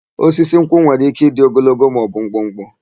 Osisi nkwụ nwere ike ịdị ogologo maọbụ mkpụkpụ.